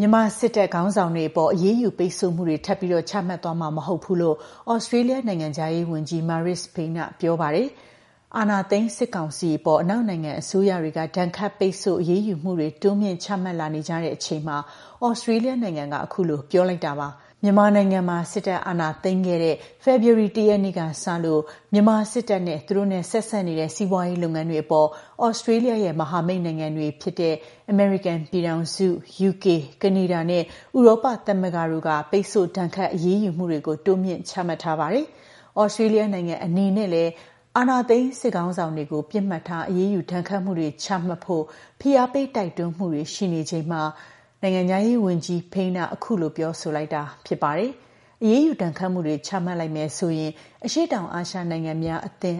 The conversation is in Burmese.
မြန်မာစစ်တပ် ခေါင်းဆောင်တွေအပေါ် အရေးယူပိတ်ဆို့မှုတွေ ထပ်ပြီးချမှတ်သွားမှာ မဟုတ်ဘူးလို့ သြစတြေးလျ နိုင်ငံခြားရေးဝန်ကြီး Marise Payne က ပြောပါတယ်။ အာဏာသိမ်းစစ်ကောင်စီအပေါ် အနောက်နိုင်ငံအစိုးရတွေက ဒဏ်ခတ်ပိတ်ဆို့ အရေးယူမှုတွေ တိုးမြှင့်ချမှတ်လာနေကြတဲ့အချိန်မှာ သြစတြေးလျနိုင်ငံက အခုလိုပြောလိုက်တာပါ။ မြန်မာနိုင်ငံမှာ စစ်တပ်က အာဏာသိမ်းခဲ့တဲ့ ဖေဖော်ဝါရီလ ၁ ရက်နေ့ကစလို့ မြန်မာ စစ်တပ်နဲ့ သူတို့နဲ့ ဆက်စပ်နေတဲ့ စီးပွားရေးလုပ်ငန်းတွေအပေါ် သြစတြေးလျရဲ့ မဟာမိတ်နိုင်ငံတွေဖြစ်တဲ့ အမေရိကန်ပြည်ထောင်စု၊ ယူကေ၊ ကနေဒါနဲ့ ဥရောပသမဂ္ဂတို့ကတော့ ပိတ်ဆို့ ဒဏ်ခတ် အရေးယူမှုတွေ တိုးမြှင့် ချမှတ်ထားပါတယ်။ သြစတြေးလျနိုင်ငံအနေနဲ့လည်း အာဏာသိမ်း စစ်ခေါင်းဆောင်တွေကို ပစ်မှတ်ထား အရေးယူ ဒဏ်ခတ်မှုတွေ ချမှတ်ဖို့ ဖိအားပေး တိုက်တွန်းမှုတွေ ရှိနေချိန်မှာ နိုင်ငံခြားရေးဝန်ကြီး Payne က ခုလို ပြောဆိုလိုက်တာ ဖြစ်ပါတယ်။ အရေးယူဒဏ်ခတ်မှုတွေ ချမှတ်လိုက်မယ်ဆိုရင် အရှေ့တောင်အာရှနိုင်ငံများအသင်း